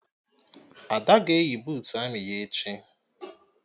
Ada ga-eyi buutu amị ya echi